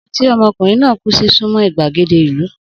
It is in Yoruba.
Odò tí omokunrin náà kú sí súnmọ́ ìgbàgede ìlú.